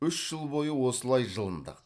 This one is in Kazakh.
үш жыл бойы осылай жылындық